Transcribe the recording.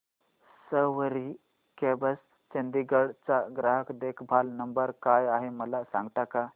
सवारी cabs Chandigarh चा ग्राहक देखभाल नंबर काय आहे मला सांगता का